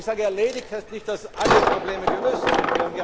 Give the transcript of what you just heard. Wenn ich sage erledigt, heißt das nicht, dass alle Probleme gelöst sind.